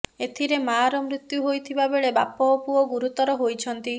ଏଥିରେ ମାଆର ମୃତ୍ୟୁ ହୋଇଥିବା ବେଳେ ବାପ ଓ ପୁଅ ଗୁରୁତର ହୋଇଛନ୍ତି